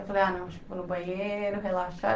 Eu falei, ah não, vou no banheiro, relaxar.